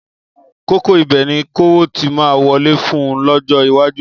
Kókó ibẹ̀ ni kówó ti máa wọlé fún un lọ́jọ́ iwájú.